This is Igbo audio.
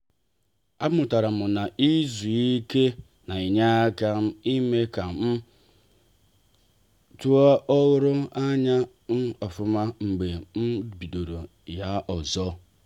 a mụtara m na-izu ike na-enye aka ime ka um a ruo ọrụ um ofuma mgbe m bidoro ya ọzọ